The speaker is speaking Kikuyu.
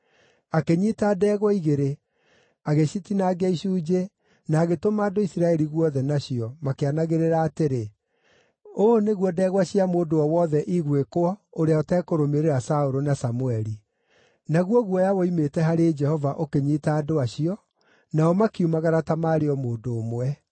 Akĩnyiita ndegwa igĩrĩ, agĩcitinangia icunjĩ, na agĩtũma andũ Isiraeli guothe nacio, makĩanagĩrĩra atĩrĩ, “Ũũ nĩguo ndegwa cia mũndũ o wothe igwĩkwo ũrĩa ũtekũrũmĩrĩra Saũlũ na Samũeli.” Naguo guoya woimĩte harĩ Jehova ũkĩnyiita andũ acio, nao makiumagara ta maarĩ o mũndũ ũmwe.